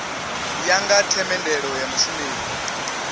ya nga themendelo ya mushumeli